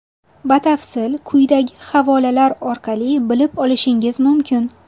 Batafsil quyidagi havolalar orqali bilib olishingiz mumkin: .